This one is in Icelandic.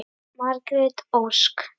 Margrét Ósk.